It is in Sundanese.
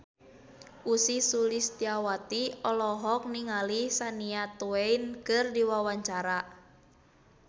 Ussy Sulistyawati olohok ningali Shania Twain keur diwawancara